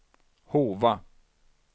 Hova